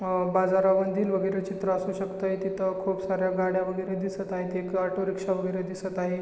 अ बाजारामधील वगैरे चित्र असू शकत तिथ खुप साऱ्या गाड्या वगैरे दिसत आहे एक ऑटो रिक्षा वगैरे दिसत आहे.